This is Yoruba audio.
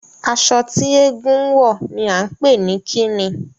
Aṣọ tí eégún ń wọ̀ ni à ń pè ní kí ni?